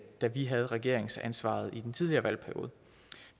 da vi havde regeringsansvaret i den tidligere valgperiode